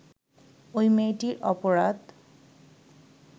ওই মেয়েটির অপরাধ